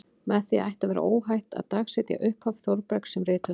Með því ætti að vera óhætt að dagsetja upphaf Þórbergs sem rithöfundar.